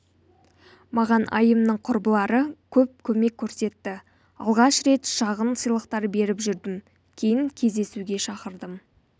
маған айымның құрбылары көп көмек көрсетті алғаш рет шағын сыйлықтар беріп жүрдім кейін кездесуге шақырдым